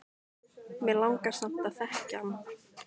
Mig langar samt að þekkja hann